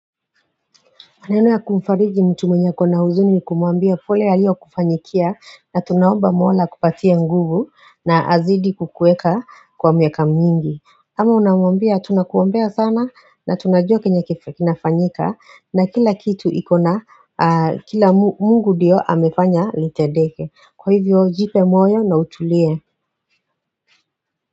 Maneno ya kumfariji mtu mwenye ako na huzuni ni kumwambia pole yaliyokufanyikia na tunaomba Mola akupatie nguvu na azidi kukuweka kwa miaka mingi ama unamwambia tunakuombea sana na tunajua chenye kinafanyika na kila kitu iko na Mungu ndiyo amefanya litendeke kwa hivyo jipe moyo na utulie.